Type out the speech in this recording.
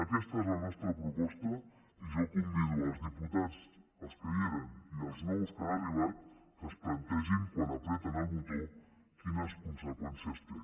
aquesta és la nostra proposta i jo convido els diputats els que hi eren i els nous que han arribat que es plantegin quan apreten el botó quines conseqüències té